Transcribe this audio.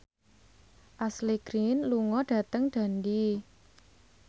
Ashley Greene lunga dhateng Dundee